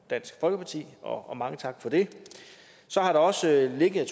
dansk folkeparti og mange tak for det så har der også ligget